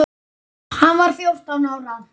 Hann var fjórtán ára.